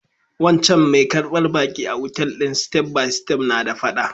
Wancan mai karbar baƙi a otal din step by step na da fada.